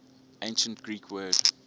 ancient greek word